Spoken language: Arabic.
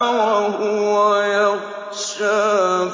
وَهُوَ يَخْشَىٰ